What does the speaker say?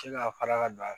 K'i ka kala ka don a la